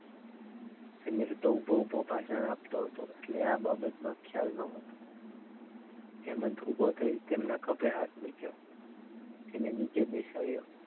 સમીર તો ઉભો ઉભો ભાષણ આપતો હતો એટલે આ બાબતમાં ખ્યાલ ન હતો હેમંતે ઉભો થઈ તેના ખભે હાથ મૂક્યો એને નીચે બેસાડ્યો.